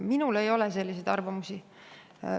Minul ei ole selliseid arvamusi.